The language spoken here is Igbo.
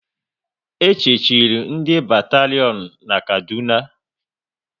E chechiri ndị batarion na Kaduna